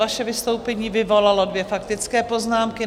Vaše vystoupení vyvolalo dvě faktické poznámky.